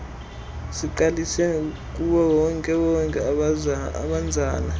sigqalise kuwonkewonke obanzana